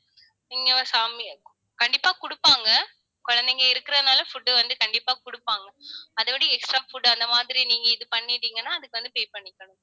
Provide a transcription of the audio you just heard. நீங்க கண்டிப்பா குடுப்பாங்க. குழந்தைங்க இருக்கிறதுனால food வந்து கண்டிப்பா குடுப்பாங்க. அதோட extra food அந்த மாதிரி நீங்க இது பண்ணிட்டீங்கன்னா அதுக்கு வந்து pay பண்ணிக்கணும்